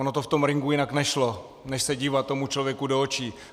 Ono to v tom ringu jinak nešlo než se dívat tomu člověku do očí.